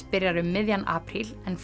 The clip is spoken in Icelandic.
byrjar um miðjan apríl en